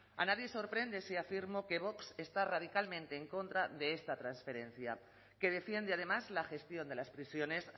a nadie le sorprende si afirmo que vox está radicalmente en contra de esta transferencia que defiende además la gestión de las prisiones